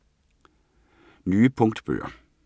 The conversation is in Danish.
Nye punktbøger